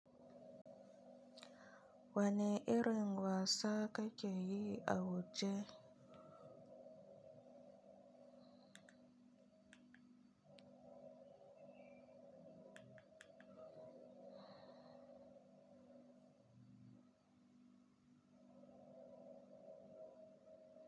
Wani irin wasa kakeyi a waje?